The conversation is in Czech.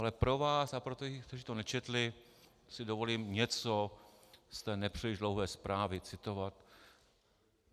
Ale pro vás a pro ty, kteří to nečetli, si dovolím něco z té nepříliš dlouhé zprávy citovat.